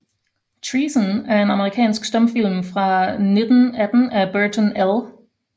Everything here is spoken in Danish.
Treason er en amerikansk stumfilm fra 1918 af Burton L